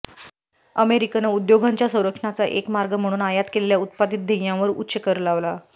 American उद्योगांच्या संरक्षणाचा एक मार्ग म्हणून आयात केलेल्या उत्पादित ध्येयांवर उच्च कर लावला